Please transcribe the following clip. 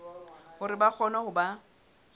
hore ba kgone ho ba